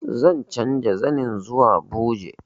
Zan canza zanin zuwa buje